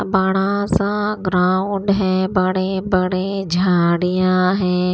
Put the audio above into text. बड़ा सा ग्राउंड है बड़े बड़े झाड़ियां हैं।